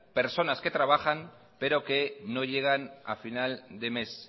personas que trabajan pero que no llegan a final de mes